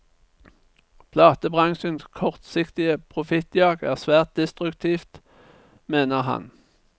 Platebransjens kortsiktige profittjag er svært destruktivt, mener han.